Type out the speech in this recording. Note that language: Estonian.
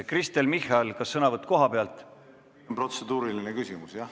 Kristen Michal, kas sõnavõtt kohalt?